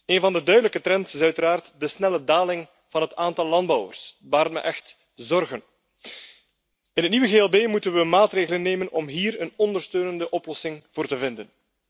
Een van de duidelijke trends is uiteraard de snelle daling van het aantal landbouwers, dat baart me echt zorgen. In het nieuwe GLB moeten we maatregelen nemen om hier een ondersteunende oplossing voor te vinden.